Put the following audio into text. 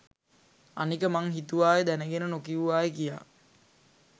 අනික මං හිතුවාය දැනගෙන නොකිව්වාය කියා